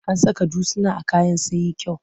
An saka dutsuna a kayan sun yi kyau.